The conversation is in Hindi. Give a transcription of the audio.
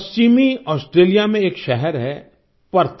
पश्चिमी ऑस्ट्रेलिया में एक शहर है पर्थ